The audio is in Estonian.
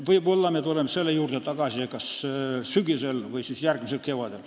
Võib-olla me tuleme selle juurde tagasi kas sügisel või järgmisel kevadel.